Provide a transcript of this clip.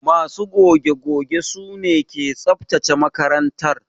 Ma su goge goge su ne ke tsabtace makarantar.